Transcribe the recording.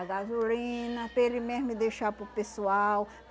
A gasolina, para ele mesmo deixar para o pessoal.